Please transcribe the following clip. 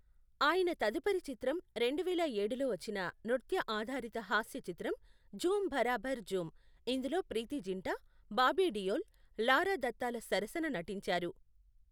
ఆయన తదుపరి చిత్రం రెండువేల ఏడులో వచ్చిన నృత్య ఆధారిత హాస్య చిత్రం ఝూమ్ బరాబర్ ఝూమ్, ఇందులో ప్రీతీ జింటా, బాబీ డియోల్, లారా దత్తాల సరసన నటించారు.